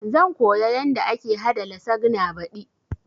Zan koya yanda ake haɗa lasagna baɗi